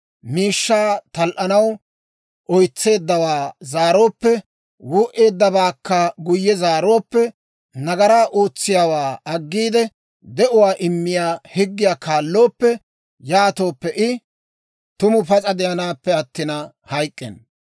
miishshaa tal"anaw oytseeddawaa zaarooppe, wuu"eeddabaakka guyye zaarooppe, nagaraa ootsiyaawaa aggiide, de'uwaa immiyaa higgiyaa kaallooppe, yaatooppe, I tuma pas'a de'anaappe attina hayk'k'enna.